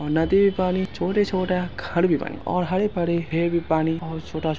नदी का पानी छोटा-छोटा घर भी बनी और हरे-भरे पानी बहुत छोटा-छोटा --